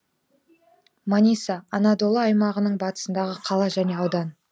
маниса анадолы аймағының батысындағы қала және аудан